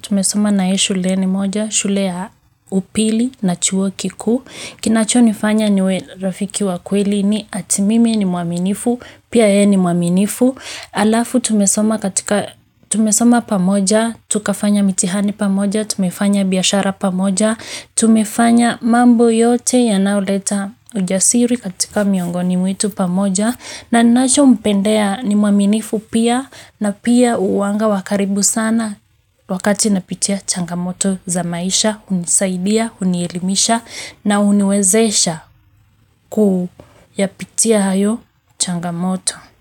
tumesoma naye shuleni moja, shule ya upili na chuo kiku. Kinachonifanya niwe rafiki wa kweli ni ati mimi ni mwaminifu, pia yeye ni mwaminifu. Halafu tumesoma katika, tumesoma pamoja, tukafanya mitihani pamoja, tumefanya biashara pamoja, tumefanya mambo yote yanaoleta ujasiri katika miongoni mwetu pamoja, na ninachompendea ni mwaminifu pia na pia huwanga wa karibu sana wakati napitia changamoto za maisha, hunisaidia, hunielimisha na huniwezesha kuyapitia hayo changamoto.